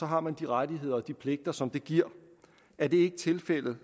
har man de rettigheder og de pligter som det giver er det ikke tilfældet